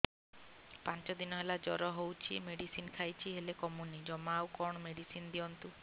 ପାଞ୍ଚ ଦିନ ହେଲା ଜର ହଉଛି ମେଡିସିନ ଖାଇଛି ହେଲେ କମୁନି ଜମା ଆଉ କଣ ମେଡ଼ିସିନ ଦିଅନ୍ତୁ